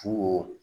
Fuko